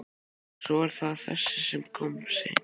Og svo er það þessi sem kom seinna.